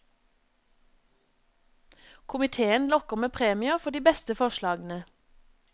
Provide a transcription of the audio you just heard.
Komitéen lokker med premier for de beste forslagene.